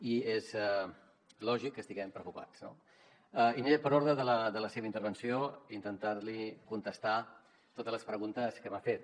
i és lògic que estiguem preocupats no i aniré per ordre de la seva intervenció per intentar li contestar totes les preguntes que m’ha fet